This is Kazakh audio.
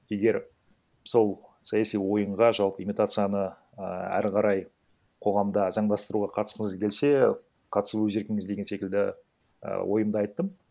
егер сол саяси ойынға жалпы имитацияны ііі әрі қарай қоғамда заңдастыруға қатысқыңыз келсе қатысу өз еркіңіз деген секілді і ойымды айттым